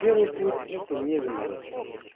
первый путь это не заморачиваться